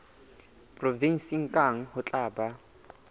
provenseng kang ho tla ba